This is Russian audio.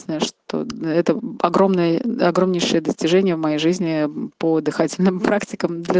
ственное что это огромное огромнейшее достижения в моей жизни по дыхательным практикам для